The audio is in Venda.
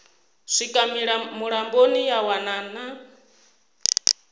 swika mulamboni ya wana na